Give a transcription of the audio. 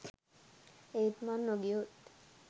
ඒත් මං නොගියොත්